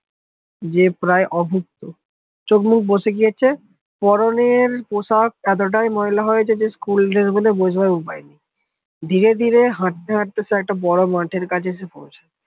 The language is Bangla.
যে প্রায় অভুক্ত চোখ মুখ বসে গেছে পরনের পোশাক এতটাই মহিলা হয়েছে যে School dress বলে বোঝার ওপায় নি ধীরে ধীরে হাটতে হাঁটতে একটা বড় মাঠের কাছে